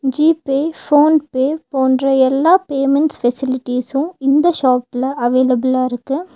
G Pay PhonePe போன்ற எல்லா payments facilities இந்த ஷாப்ல அவைலப்பில்லா இருக்கு.